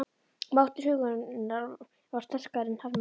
Máttur huggunarinnar varð sterkari en harmurinn.